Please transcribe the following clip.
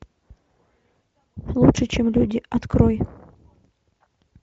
лучше чем люди открой